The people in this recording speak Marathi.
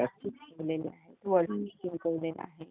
त्यमधली एक जी मिताली राजे आहे